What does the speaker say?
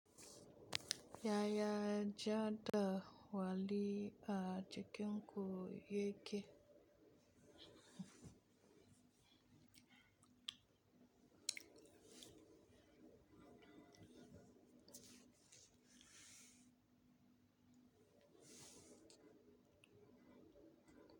Yaya jadawali a cikin ku ya ke?